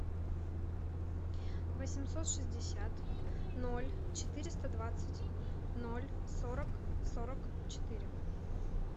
восемьсот шестьдесят ноль четыреста двадцать ноль сорок сорок четыре